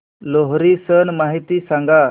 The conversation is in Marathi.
लोहरी सण माहिती सांगा